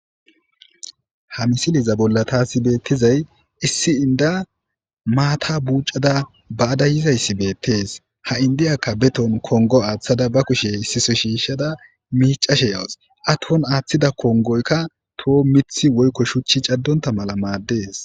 Ha misilezza bolla tasi betiday issi inda mata bucada bazza yizayssi bettes ha indiyaka betohon kongo athada beshayan kushe wothada micashe yawus iya athida kongoykka mithi woyko shuchi cadonta mala madees.